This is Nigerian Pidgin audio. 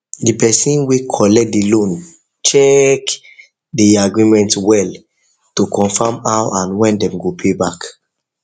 the person wey collect the loan check check the agreement well to confirm how and when dem go pay back